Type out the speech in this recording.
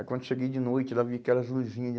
Aí, quando cheguei de noite, lá vi aquelas luzinhas.